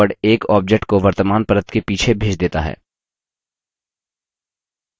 send backward एक object को वर्तमान परत के पीछे भेज देता है